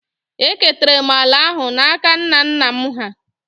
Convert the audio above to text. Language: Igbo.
Eketara m ala ahụ n’aka nna nna m hà